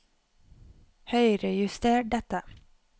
Høyrejuster dette